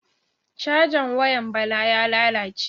Cajan wayan Bala ya lalace.